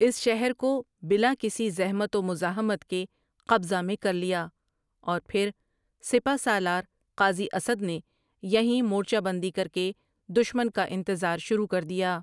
اس شہر کو بلا کسی زحمت ومزاحمت کے قبضہ میں کرلیا اورپھر سپہ سالار قاضی اسد نے یہیں مورچہ بندی کرکے دشمن کا انتظار شروع کردیا۔